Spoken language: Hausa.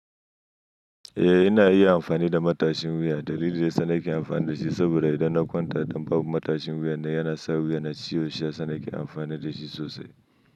Eh, ina iya amfani da matashin wuya. Dalili da yana sa nake amfani da shi saboda idan na kwantar dam ba matashin wuya na yana sa wuya na ciwo sha, sa nake amfani da shi sosai.